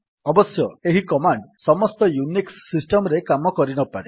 ଅବଶ୍ୟ ଏହି କମାଣ୍ଡ୍ ସମସ୍ତ ୟୁନିକ୍ସ୍ ସିଷ୍ଟମ୍ ରେ କାମ କରିନପାରେ